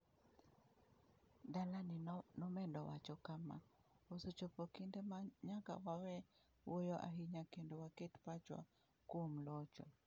Dalaney nomedo wacho kama: “Osechopo kinde ma nyaka wawe wuoyo ahinya kendo waket pachwa kuom locho.”